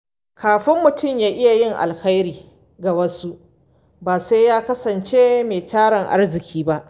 Kafin mutum ya iya yin alheri ga wasu, ba sai ya kasance mai tarin arziki ba.